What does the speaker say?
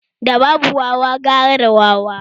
Da babu wawa gara da wawa